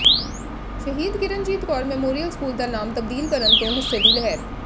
ਸ਼ਹੀਦ Kiranjit Kaur memorial school ਦਾ ਨਾਮ ਤਬਦੀਲ ਕਰਨ ਤੋਂ ਗੁੱਸੇ ਦੀ ਲਹਿਰ